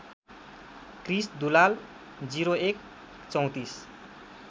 Krrish Dulal ०१ ३४